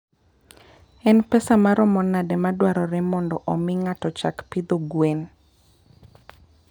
En pesa maromo nade madwarore mondo omi ng'ato ochak pidho gwen?